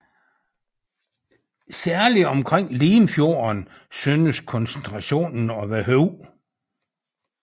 Særligt omkring Limfjorden synes koncentrationen at være høj